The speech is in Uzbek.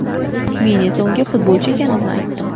Men esa unga futbolchi ekanimni aytdim.